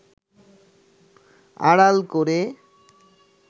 আড়াল করে